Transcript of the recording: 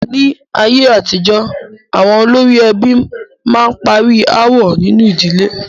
Ní ayé àtijọ́, àwọn olórí ẹbí a máa parí aáwọ̀ nínu ìdílé.